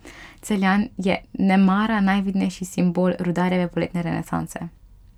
Celjan je nemara najvidnejši simbol Rudarjeve poletne renesanse.